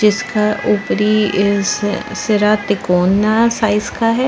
इसका ऊपरी हिसा सिरा तिकोना साइज़ का हैं।